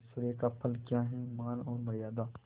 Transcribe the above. ऐश्वर्य का फल क्या हैमान और मर्यादा